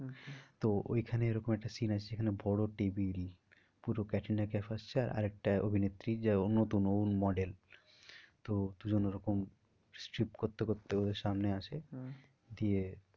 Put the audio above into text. তো ওই খানে এরকম একটা scene আছে যেখানে বড়ো table পুরো ক্যাটরিনা কাইফ আসছে আর একটা অভিনেত্রী যে নতুন ও model তো দু জন ওরকম করতে করতে ওদের সামনে আসে আহ দিয়ে